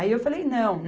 Aí eu falei, não.